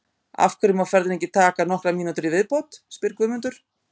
Af hverju má ferðin ekki taka nokkrar mínútur í viðbót? spyr Guðmundur.